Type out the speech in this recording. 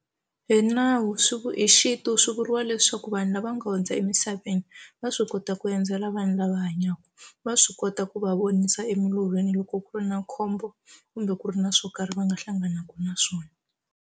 Hi nawu swi hi xintu swi vuriwa leswaku vanhu lava nga hundza emisaveni va swi kota ku endzela vanhu lava hanyaka va swi kota ku va vonisa emilolweni loko ku ri na khombo kumbe ku ri na swo karhi va nga hlanganaku na swona.